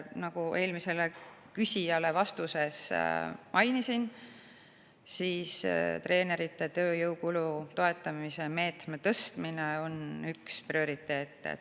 Nagu ma eelmisele küsijale mainisin, treeneri tööjõukulu toetamise meetme tõstmine on üks prioriteete.